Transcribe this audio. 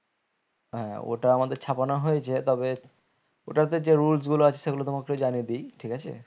হ্যাঁ ওটা আমাদের ছাপানো হয়েছে তবে ওটাতে যে rules গুলো আছে সেগুলো তোমাকেও জানিয়ে দি ঠিক আছে?